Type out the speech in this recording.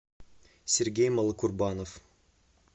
сергей малокурбанов